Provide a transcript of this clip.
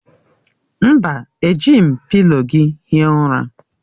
Mba, ejighi m pịlo gị hie ụra.